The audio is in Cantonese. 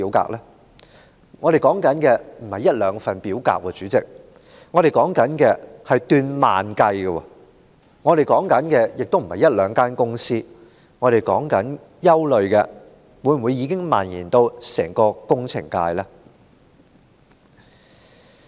主席，我們現在說的並非一兩份表格，而是數以萬計的表格；我們說的也非一兩間公司，我們感到憂慮的是，相關問題是否已蔓延至整個工程界？